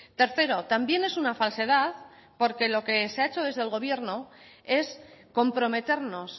tercero también es una falsedad porque lo que se ha hecho desde el gobierno es comprometernos